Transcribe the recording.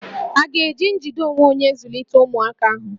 À ga-eji njide onwe onye zụlite ụmụaka ahụ?